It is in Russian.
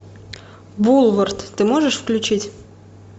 булворт ты можешь включить